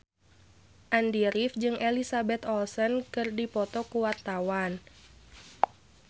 Andy rif jeung Elizabeth Olsen keur dipoto ku wartawan